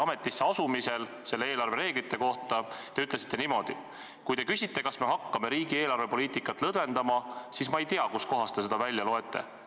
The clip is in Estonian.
Ametisse astumisel te ütlesite eelarvereeglite kohta niimoodi: "Kui te küsite, kas me hakkame kuidagi riigi eelarvepoliitikat lõdvendama, siis ma ei tea, kust kohast te seda välja loete.